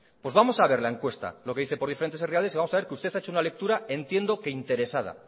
pues vamos a ver la encuesta lo que dice por diferentes herrialdes y vamos a ver que usted ha hecho una lectura entiendo que interesada